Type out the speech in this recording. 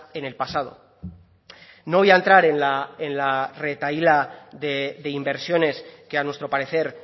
en el pasado no voy a entrar en la en la retahíla de inversiones que a nuestro parecer